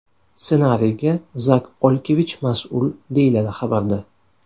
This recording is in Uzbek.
Ssenariyga Zak Olkevich mas’ul, deyiladi xabarda.